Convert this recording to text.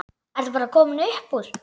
Ertu bara komin upp úr?